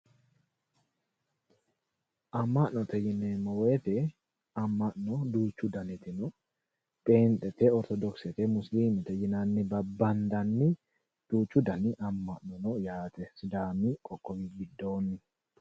Ama'note yineemmo woyte ama'no duuchu danniti no, phenxete, orthodokisete, Musilimete yinnanni babbandanni duuchu danni ama'no sidaami qoqqowi giddoni no.